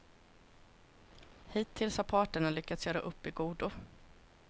Hittills har parterna lyckats göra upp i godo.